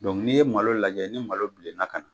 Ni ye malo lajɛ, ni malo bilenna ka ɲɛ